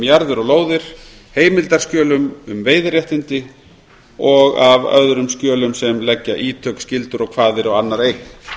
jarðir og lóðir heimildarskjölum um veiðiréttindi og af öðrum skjölum sem leggja ítök skyldur og kvaðir á annarra eign